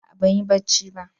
A'a ban yi barci ba.